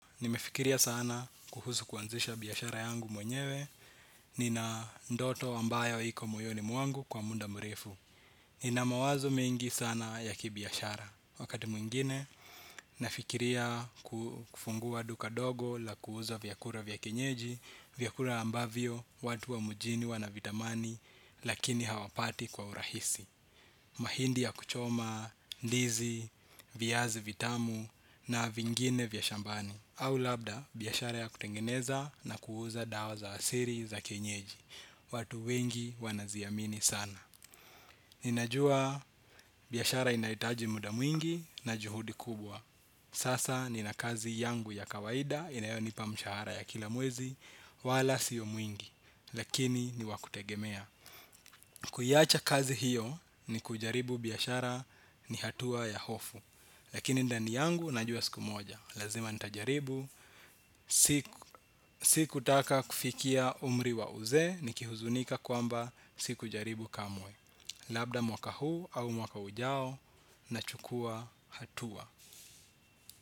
Nimefikiria sana kuhusu kuanzisha biashara yangu mwenyewe. Nina ndoto ambayo iko moyoni mwangu kwa munda murefu. Nina mawazo mengi sana ya kibiashara. Wakati mwingine nafikiria kufungua duka dogo la kuuza vyakura vya kienyeji. Vyakula ambavyo watu wa mujini wanavitamani lakini hawapati kwa urahisi. Mahindi ya kuchoma, ndizi, viazi vitamu na vingine vya shambani au labda biashara ya kutengeneza na kuuza dawa za asiri za kienyeji. Watu wengi wanaziamini sana. Ninajua biashara inaitaji muda mwingi na juhudi kubwa. Sasa nina kazi yangu ya kawaida inayo nipa mshahara ya kila mwezi. Wala sio mwingi, lakini ni wakutegemea. Kuiacha kazi hiyo ni kujaribu biashara ni hatua ya hofu. Lakini ndani yangu najua siku moja lazima nitajaribu, si kutaka kufikia umri wa uzee ni kihuzunika kwamba si kujaribu kamwe. Labda mwaka huu au mwaka ujao nachukua hatua.